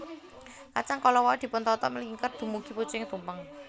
Kacang kala wau dipun tata mlingker dumugi pucuking tumpeng